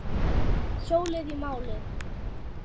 Hjólið í málið.